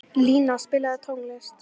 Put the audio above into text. Lína, spilaðu tónlist.